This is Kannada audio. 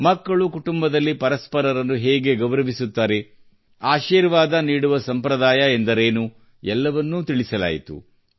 ಮಕ್ಕಳು ಕುಟುಂಬದಲ್ಲಿ ಪರಸ್ಪರರನ್ನು ಹೇಗೆ ಗೌರವಿಸುತ್ತಾರೆ ಆಶೀರ್ವಾದ ನೀಡುವ ಸಂಪ್ರದಾಯವೆಂದರೇನು ಎಲ್ಲವನ್ನೂ ತಿಳಿಸಲಾಯಿತು